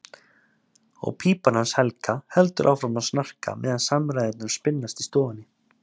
Og pípan hans Helga heldur áfram að snarka meðan samræðurnar spinnast í stofunni.